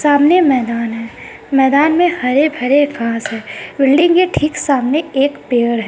सामने मैदान है मैदान में हरे-भरे घास है बिल्डिंग के ठीक सामने एक पेड़ --